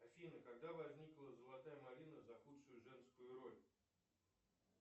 афина когда возникла золотая малина за худшую женскую роль